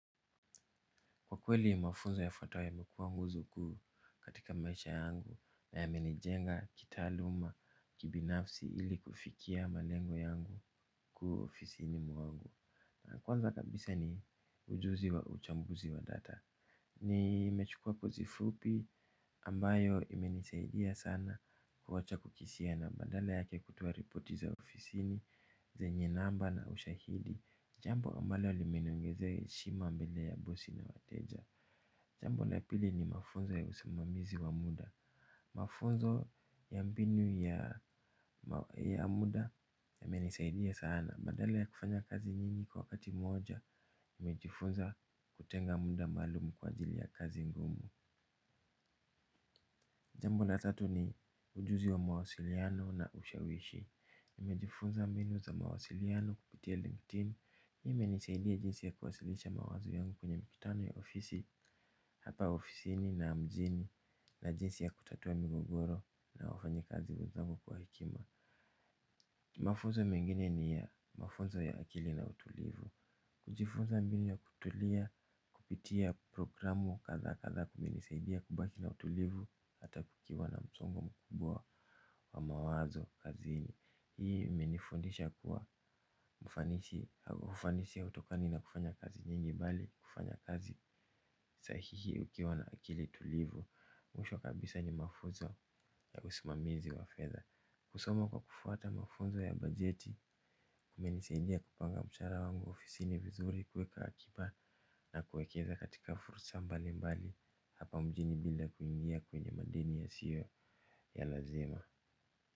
Kwa kweli mafunzo yafuatayo yamekua nguzo kuu katika maisha yangu na yamenijenga, kitaaluma, kibinafsi ili kufikia malengo yangu kuu ofisini mwangu. Na kwanza kabisa ni ujuzi wa uchambuzi wa data. Nimechukua course fupi ambayo imenisaidia sana kuwacha kukisia na badala yake kutoa ripoti za ofisini, zenye namba na ushahidi jambo ambalo limeniongezea heshima mbele ya bosi na wateja. Jambo la pili ni mafunzo ya usimamizi wa muda. Mafunzo ya mbinu ya muda yamenisaidia sana. Badala ya kufanya kazi nyingi kwa wakati moja, nimejifunza kutenga muda maalum kwa ajili ya kazi ngumu. Jambo la tatu ni ujuzi wa mawasiliano na ushawishi. Nimejifunza mbinu za mawasiliano kupitia LinkedIn. Hii imenisaidia jinsi ya kuwasilisha mawazo yangu kwenye mikutano ya ofisi, hapa ofisini na mjini na jinsi ya kutatua migogoro na wafanyi kazi wenzangu kwa hekima. Mafunzo mengine ni ya mafunzo ya akili na utulivu. Kujifunza mbinu ya kutulia kupitia programu kadhaa kadhaa kumenisaidia kubaki na utulivu. Hata kukiwa na msongo mkubwa wa mawazo kazini hii imenifundisha kuwa ufanisi hautokani na kufanya kazi nyingi bali kufanya kazi sahihi ukiwa na akili tulivu. Mwisho kabisa ni mafunzo ya usimamizi wa fedha. Kusoma kwa kufuata mafunzo ya bajeti kumenisaidia kupanga mshahara wangu ofisini vizuri kweka akiba. Na kuwekeza katika fursa mbali mbali hapa mjini bila kuingia kwenye madeni yasio ya lazima.